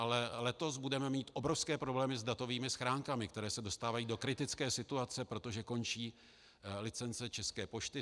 Ale letos budeme mít obrovské problémy s datovými schránkami, které se dostávají do kritické situace, protože končí licence České pošty.